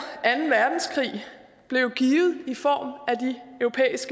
anden verdenskrig blev givet i form